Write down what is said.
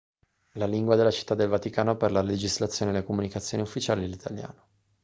la lingua della città del vaticano per la legislazione e le comunicazioni ufficiali è l'italiano